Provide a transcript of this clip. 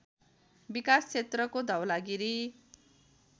विकास क्षेत्रको धवलागिरी